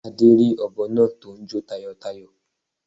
Adé rí òbọ náa tó n jó tayòtayò